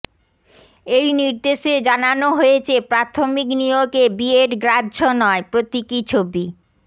এই নির্দেশে জানানো হয়েছে প্রাথমিক নিয়োগে বিএড গ্রাহ্য নয় প্রতীকী ছবি